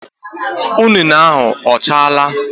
Ụnene ahụ ọ chaala?